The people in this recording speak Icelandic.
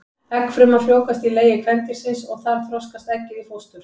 Eggfruman frjóvgast í legi kvendýrsins og þar þroskast eggið í fóstur.